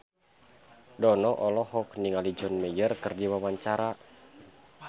Dono olohok ningali John Mayer keur diwawancara